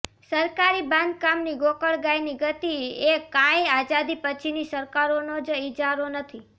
સરકારી બાંધકામની ગોકળગાયની ગતિ એ કાંઈ આઝાદી પછીની સરકારોનો જ ઇજારો નથી